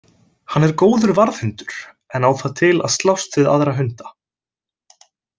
Hann er góður varðhundur en á það til að slást við aðra hunda.